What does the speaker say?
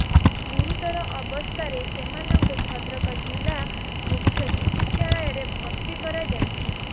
ଗୁରୁତର ଅବସ୍ଥାରେ ସେମାନଙ୍କୁ ଭଦ୍ରକ ଜିଲ୍ଲା ମୁଖ୍ୟ ଚିକିତ୍ସାଳୟରେ ଭର୍ତ୍ତି କରାଯାଇଛି